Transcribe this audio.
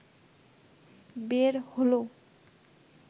বের হলো